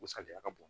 U sariya ka bon